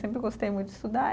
Sempre gostei muito de estudar.